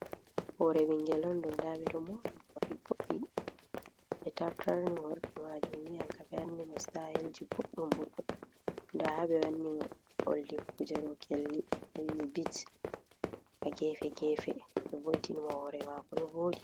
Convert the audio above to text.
Hore ɓingel on ɗo nda ɓe ɗo mora mo morɗi voddi, ɓe tartarni hore majum ni ankam ɓe wanni mo stayelji voɗɗum voɗɗum, nda ha ɓe wanni mo oldi kuje ɗo kelli bit ha gefe gefe, ɓe vo'itini mo hore mako ɗo vooɗi.